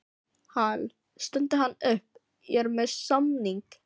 Hal, stundi hann upp, ég er með samning